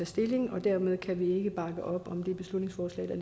stilling dermed kan vi ikke bakke op om det beslutningsforslag der